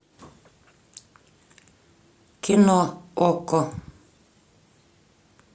кино окко